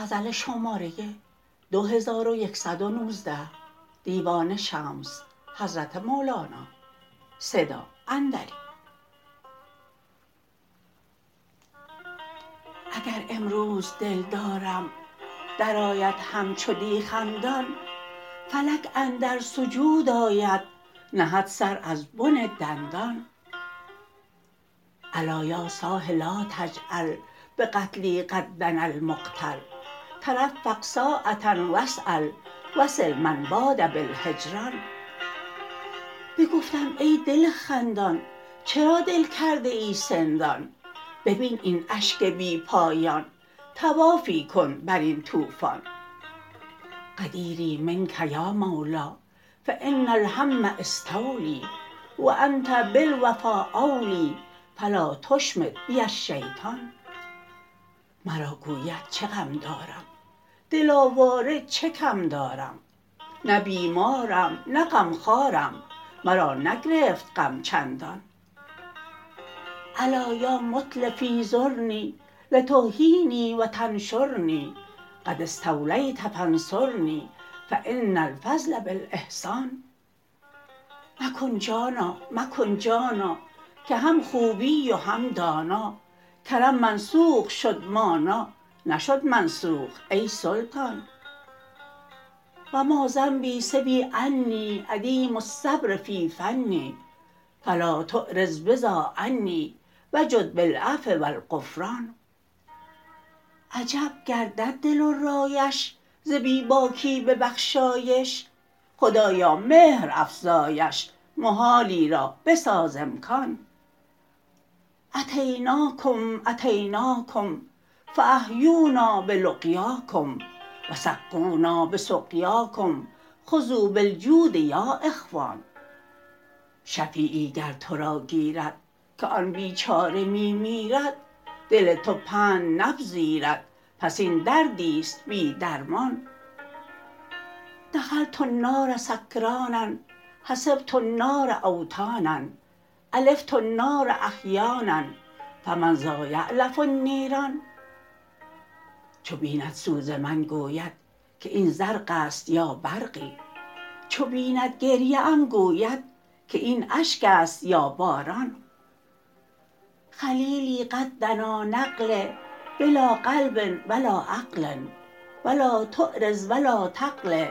اگر امروز دلدارم درآید همچو دی خندان فلک اندر سجود آید نهد سر از بن دندان الا یا صاح لا تعجل بقتلی قد دنا المقتل ترفق ساعه و اسال وصل من باد بالهجران بگفتم ای دل خندان چرا دل کرده ای سندان ببین این اشک بی پایان طوافی کن بر این طوفان عذیری منک یا مولا فان الهم استولی و انت بالوفا اولی فلا تشمت بی الشیطان مرا گوید چه غم دارد دل آواره چه کم دارم نه بیمارم نه غمخوارم مرا نگرفت غم چندان الا یا متلفی زرنی لتحیینی و تنشرنی قد استولیت فانصرنی فان الفضل بالاحسان مکن جانا مکن جانا که هم خوبی و هم دانا کرم منسوخ شد مانا نشد منسوخ ای سلطان و ما ذنبی سوی انی عدیم الصبر فی فنی فلا تعرض بذا عنی وجد بالعفو و الغفران عجب گردد دل و رایش ز بی باکی ببخشایش خدایا مهر افزایش محالی را بساز امکان اتیناکم اتیناکم فاحیونا بلقیاکم و سقونا به سقیاکم خذوا بالجود یا اخوان شفیعی گر تو را گیرد که آن بیچاره می میرد دل تو پند نپذیرد پس این دردی است بی درمان دخلت النار سکرانا حسبت النار اوطانا الفت النار احیانا فمن ذایألف النیران چو بیند سوز من گوید که این زرق است یا برقی چو بیند گریه ام گوید که این اشک است یا باران خلیلی قد دنا نقلی بلا قلب و لا عقل و لا تعرض و لا تقل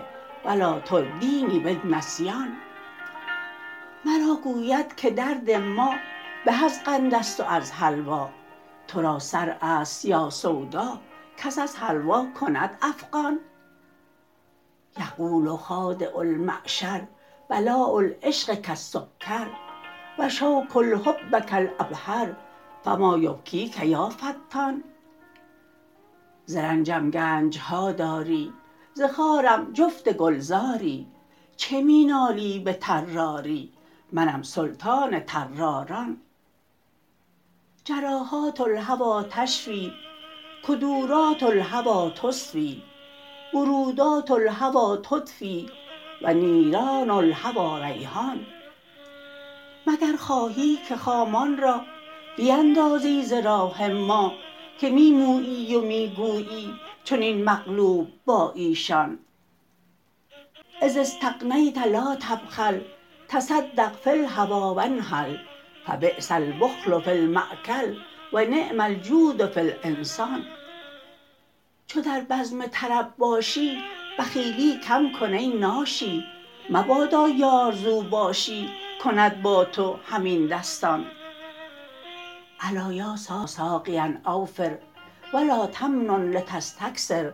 و لا تردینی بالنسیان مرا گوید که درد ما به از قند است و از حلوا تو را صرع است یا سودا کس از حلوا کند افغان یقول خادع المعشر بلاء العشق کالسکر و شوک الحب کالعبهر فما یبکیک یا فتان ز رنجم گنج ها داری ز خارم جفت گلزاری چه می نالی به طراری منم سلطان طراران جراحات الهوی تشفی کدورات الهوی تصفی برودات الهوی تدفی و نیران الهوی ریحان مگر خواهی که خامان را بیندازی ز راه ما که می مویی و می گویی چنین مقلوب با ایشان اذا استغنیت لا تبخل تصدق فی الهوی و انخل فبیس البخل فی المأکل و نعم الجود فی الانسان چو در بزم طرب باشی بخیلی کم کن ای ناشی مبادا یار ز اوباشی کند با تو همین دستان الا یا ساقیا اوفر و لا تمنن لتستکثر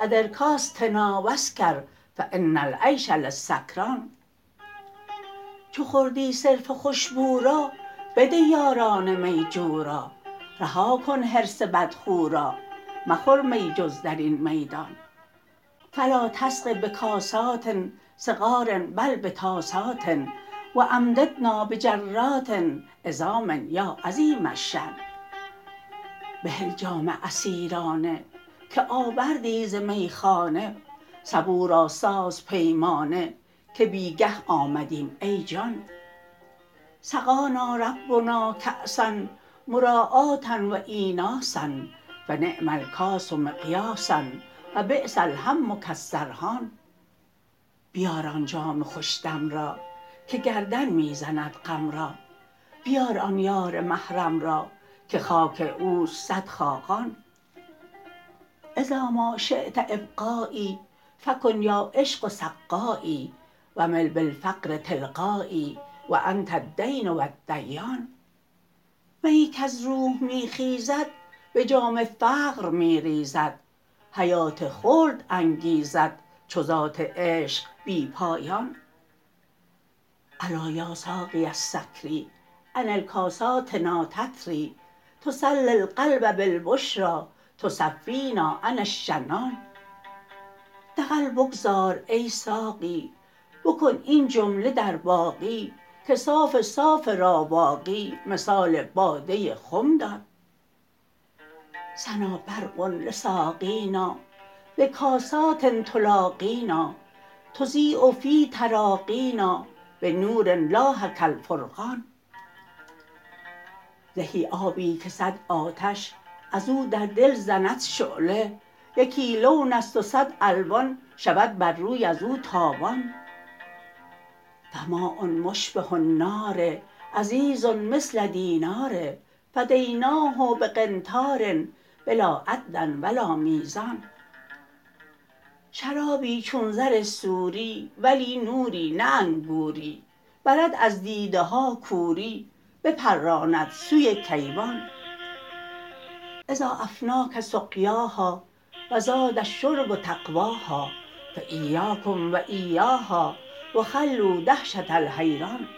ادر کاستنا و اسکر فان العیش للسکران چو خوردی صرف خوش بو را بده یاران می جو را رها کن حرص بدخو را مخور می جز در این میدان فلا تسق بکاسات صغار بل بطاسات و امددنا بحرات عظام یا عظیم الشأن بهل جام عصیرانه که آوردی ز میخانه سبو را ساز پیمانه که بی گه آمدیم ای جان سقانا ربنا کاسا مراعاه و ایناسا فنعم الکاس مقیاسا و بیس الهم کالسرحان بیار آن جام خوش دم را که گردن می زند غم را بیار آن یار محرم را که خاک او است صد خاقان اذا ما شیت ابقایی فکن یا عشق سقایی و مل بالفقر تلقایی و انت الدین و الدیان میی کز روح می خیزد به جام فقر می ریزد حیات خلد انگیزد چو ذات عشق بی پایان الا یا ساقی السکری انل کاساتنا تتری تسلی القلب بالبشری تصفینا عن الشنن دغل بگذار ای ساقی بکن این جمله در باقی که صاف صاف راواقی مثال باده خم دان سنا برق لساقینا بکاسات تلاقینا تضیء فی تراقینا بنور لاح کالفرقان زهی آبی که صد آتش از او در دل زند شعله یکی لون است و صد الوان شود بر روی از او تابان فماء مشبه النار عزیز مثل دینار فدیناه به قنطار بلا عد و لا میزان شرابی چون زر سوری ولی نوری نه انگوری برد از دیده ها کوری بپراند سوی کیوان اذا افناک سقیاها و زاد الشرب طغواها فایاکم و ایاها و خلوا دهشته الحیران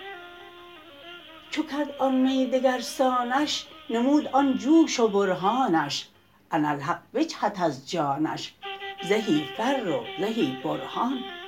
چو کرد آن می دگر سانش نمود آن جوش و برهانش اناالحق بجهد از جانش زهی فر و زهی برهان